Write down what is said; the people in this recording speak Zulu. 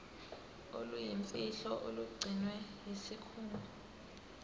oluyimfihlo olugcinwe yisikhungo